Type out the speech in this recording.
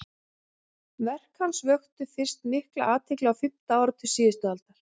verk hans vöktu fyrst mikla athygli á fimmta áratug síðustu aldar